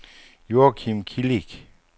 Joachim Kilic